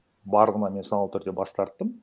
барлығынан мен саналы түрде бас тарттым